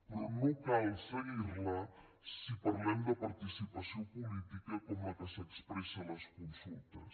però no cal seguirla si parlem de participació política com la que s’expressa a les consultes